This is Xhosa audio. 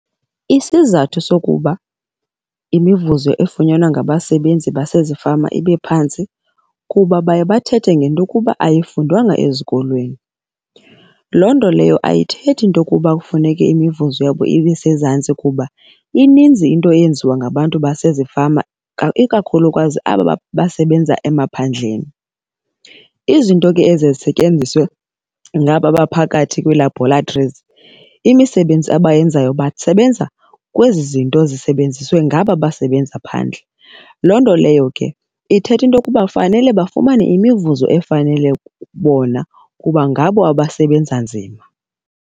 Isizathu sokuba imivuzo efunyanwa ngabasebenzi basezifama ibe phantsi kuba baye bathethe ngento yokuba ayifundwanga ezikolweni. Loo nto leyo ayithethi into yokuba kufuneke imivuzo yabo ibesezantsi kuba ininzi into eyenziwa ngabantu basezifama, ikakhulukazi aba basebenza emaphandleni. Izinto ke eziye zisetyenziswe ngaba baphakathi kwii-laboratories, imisebenzi abayenzayo basebenza kwezi zinto zisebenziswe ngaba basebenza phandle. Loo nto leyo ke ithetha into yokuba kufanele bafumane imivuzo efanele bona kuba ngabo abasebenza nzima.